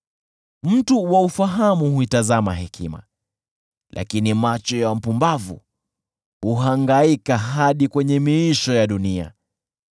Mtu wa ufahamu huitazama hekima, lakini macho ya mpumbavu huhangaika hadi kwenye miisho ya dunia.